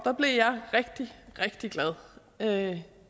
blev jeg rigtig rigtig glad det